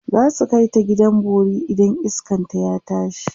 zasu kaita gidan bori idan iskan ta ya tashi